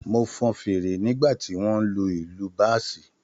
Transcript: Mo fọn fèrè nígbà tí wọ́n ń lu ìlù báàsì